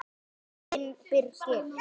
Þinn Birgir.